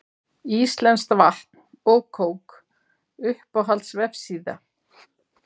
íslenskt vatn og kók Uppáhalds vefsíða?